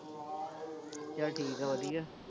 ਚੱਲ ਠੀਕ ਆ ਵਧੀਆ,